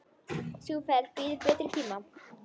Sú ferð bíður betri tíma.